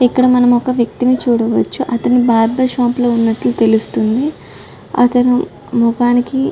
ఇక్కడ మనము ఒక వ్యక్తిని చూడవచ్చు అతను బార్బర్ షాప్ లో ఉన్నట్లు తెలుస్తోంది అతని ముఖానికి --